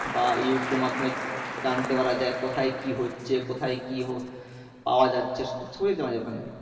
বা ইউটুব এর মাধ্যমে জানতে পারা যায় কোথায় কি হচ্ছে কোথায় কি হো পাওয়া যাচ্ছে সবই জানা যায় ওখানে